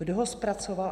Kdo ho zpracoval?